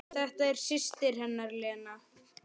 Þetta er systir hennar Lena.